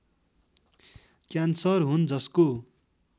cancer हुन् जसको